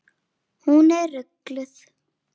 Hún er gulnuð.